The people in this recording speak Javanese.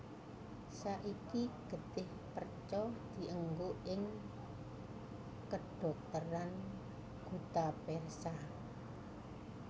Saiki getih perca dienggo ing kedhokteran guttapercha